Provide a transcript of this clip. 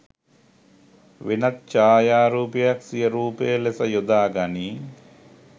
වෙනත් ඡයාරූපයක් සිය රූපය ලෙස යොදාගනි